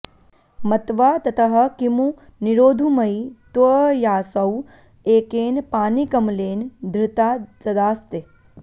मत्वा ततः किमु निरोधुमयि त्वयासौ एकेन पाणिकमलेन धृता सदास्ते